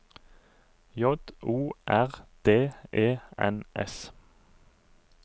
J O R D E N S